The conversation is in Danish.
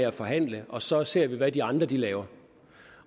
at forhandle og så ser vi hvad de andre laver